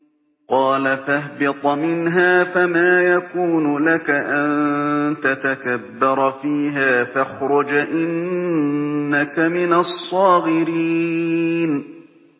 قَالَ فَاهْبِطْ مِنْهَا فَمَا يَكُونُ لَكَ أَن تَتَكَبَّرَ فِيهَا فَاخْرُجْ إِنَّكَ مِنَ الصَّاغِرِينَ